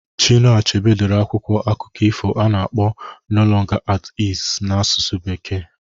Chinua Achebe dere akwụkwọ akụkọ ifo a na-akpọ "no longer at ease" n'asụsụ bekee